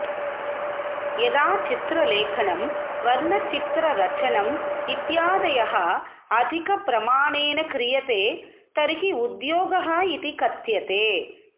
यदा चित्रलेखनं वर्णचित्ररचनम् इत्यादयः अधिकप्रमाणेन क्रियते तर्हि उद्योगः इति कथ्यते